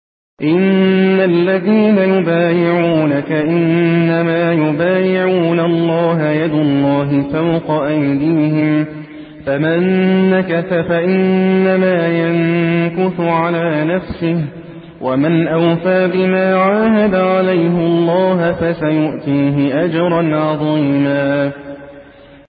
إِنَّ الَّذِينَ يُبَايِعُونَكَ إِنَّمَا يُبَايِعُونَ اللَّهَ يَدُ اللَّهِ فَوْقَ أَيْدِيهِمْ ۚ فَمَن نَّكَثَ فَإِنَّمَا يَنكُثُ عَلَىٰ نَفْسِهِ ۖ وَمَنْ أَوْفَىٰ بِمَا عَاهَدَ عَلَيْهُ اللَّهَ فَسَيُؤْتِيهِ أَجْرًا عَظِيمًا